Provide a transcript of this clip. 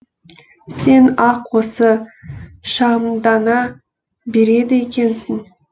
сен ақ осы шағымдана береді екенсің